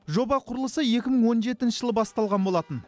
жоба құрылысы екі мың он жетінші жылы басталған болатын